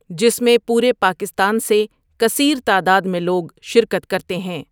جس میں پورے پاکستان سے کثیر تعداد میں لوگ شرکت کرتے ہیں۔